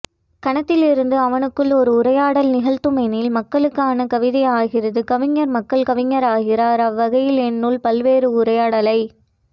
கணத்திலிருந்து அவனுக்குள் ஒரு உரையாடலை நிகழ்த்தும்எனில் மக்களுக்கான கவிதையாகிறது கவிஞர் மக்கள் கவிஞராகிறார் அவ்வகையில் என்னுள் பல்வேறுஉரையாடலை